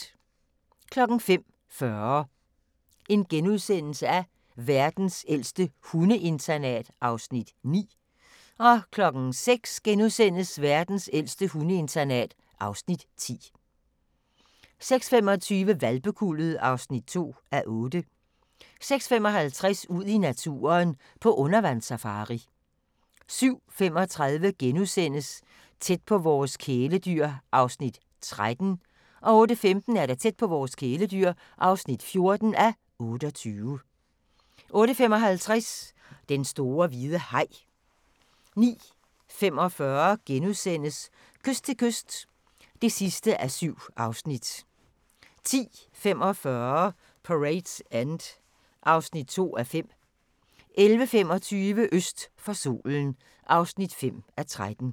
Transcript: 05:40: Verdens ældste hundeinternat (Afs. 9)* 06:00: Verdens ældste hundeinternat (Afs. 10)* 06:25: Hvalpekuldet (2:8) 06:55: Ud i naturen: På undervandssafari 07:35: Tæt på vores kæledyr (13:28)* 08:15: Tæt på vores kæledyr (14:28) 08:55: Den store hvide haj 09:45: Kyst til kyst (7:7)* 10:45: Parade's End (2:5) 11:45: Øst for solen (5:13)